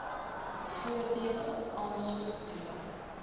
voordele aansoek doen